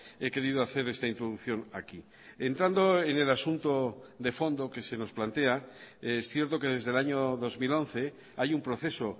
he querido hacer esta introducción aquí entrando en el asunto de fondo que se nos plantea es cierto que desde el año dos mil once hay un proceso